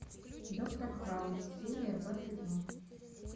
доктор хаус серия двадцать два